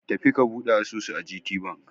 Tafi ka buɗe asusu a GTBank!